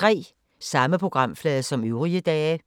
Samme programflade som øvrige dage